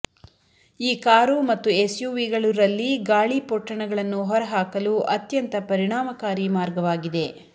ಈ ಕಾರು ಮತ್ತು ಎಸ್ಯುವಿಗಳು ರಲ್ಲಿ ಗಾಳಿ ಪೊಟ್ಟಣಗಳನ್ನು ಹೊರಹಾಕಲು ಅತ್ಯಂತ ಪರಿಣಾಮಕಾರಿ ಮಾರ್ಗವಾಗಿದೆ